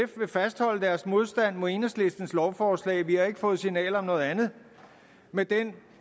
vil fastholde deres modstand mod enhedslistens lovforslag for vi har ikke fået signaler om noget andet med den